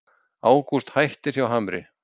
Ágúst hættir hjá Hamri